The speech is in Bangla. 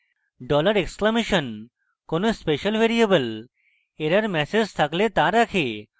dollar exclamation $! কোনো special ভ্যারিয়েবল error ম্যাসেজ থাকলে the রাখে